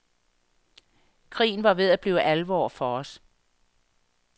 Krigen var ved at blive alvor for os.